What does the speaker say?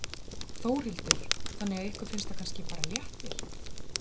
Þórhildur: Þannig að ykkur finnst það kannski bara léttir?